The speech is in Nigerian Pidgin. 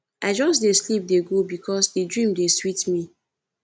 i just dey sleep dey go because di dream dey sweet me